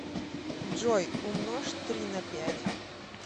джой умножь три на пять